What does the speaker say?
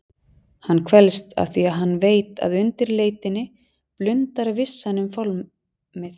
Hann kvelst afþvíað hann veit að undir leitinni blundar vissan um fálmið.